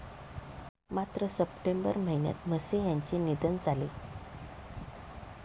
मात्र सप्टेंबर महिन्यात म्हसे यांचे निधन झाले.